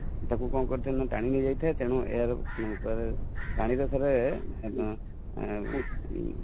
କଣ କାରୀ ଥାଏ ନା ଟାଣି ନେଇ ଯାଇଥାଏ ତେଣୁ ଏହାର କୁହାଯାଏ ପାଣିର sir ଉଁ